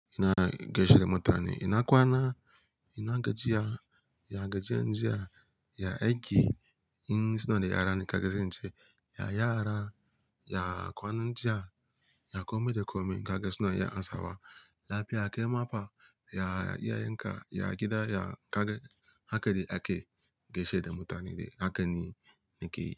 Ina geshe da mutane, ina kwana, ina gajiya, ya gajiye njiya, ya aji, in suna da yara ni ka gaishe in ce: ya yara, ya kwana njiya, ya komai da komai ka gaisuna ya ansawa. Lafiya, kai mapan, ya iyayenka, ya gida, ya haka, haka dai ake geshe da mutane, haka ne ni ke yi.